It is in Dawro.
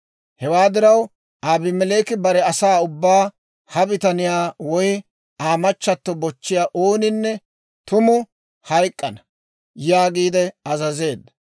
Hewaa diraw Abimeleeki bare asaa ubbaa, «Ha bitaniyaa woy Aa machchatto bochchiyaa ooninne tumu hayk'k'ana» yaagiide azazeedda.